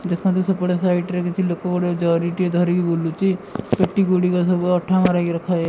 ଦେଖନ୍ତୁ ସେପଟ site side ରେ କିଛି ଲୋକ ଗୁଡ଼ିଏ ଜରିଟିଏ ଧରି ବୁଲୁଛି ପେଟି ଗୁଡ଼ିକ ସବୁ ଅଠା ମାରିକି ରଖା ଯାଇ --